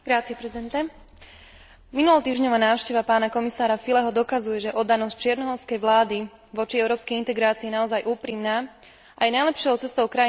Minulotýždňová návšteva pána komisára Füleho dokazuje, že oddanosť čiernohorskej vlády v oblasti európskej integrácie je naozaj úprimná a je najlepšou cestou krajiny smerujúcej do Európskej únie.